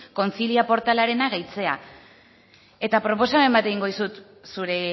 concilia portalarena gehitzea eta proposamen bat egingo dizut zure